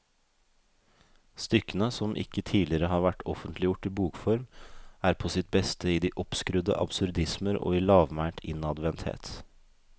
Stykkene, som ikke tidligere har vært offentliggjort i bokform, er på sitt beste i de oppskrudde absurdismer og i lavmælt innadvendthet.